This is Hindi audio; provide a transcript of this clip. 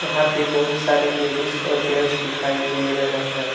यहां पे बहुत सारे लेडीज और जेंस दिखाई दे रहे है।